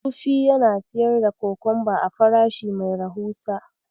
Sufi yana siyar da kokomba a farashi mai rahusa.